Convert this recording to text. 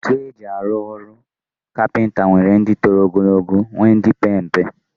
Ntu eji alu olu capenta nwere di tolog ogo nwee ndi pere mpe.